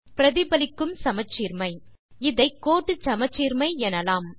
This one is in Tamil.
பிரதிபலிக்கும் சமச்சீர்மை இதை கோட்டு சமச்சீர்மை எனலாம்